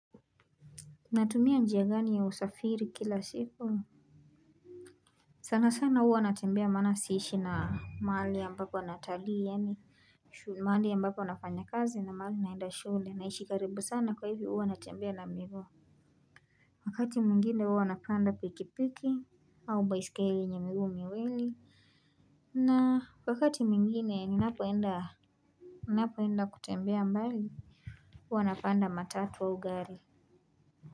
Natumia njia gani ya usafiri kila siku? Sana sana huwa natembea maana siishi na mahali ambapo natalii yaani mahali ambapo nafanya kazi na mahali naenda shule naishi karibu sana kwa hivo huwa natembea na miguu. Wakati mwingine huwa napanda pikipiki au baiskeli yenye miguu miwili. Na wakati mwingine ninapoenda napoenda kutembea mbali huwa napanda matatu au gari.